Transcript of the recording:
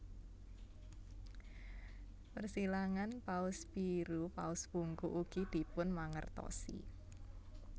Persilangan paus biru paus bungkuk ugi dipunmangertosi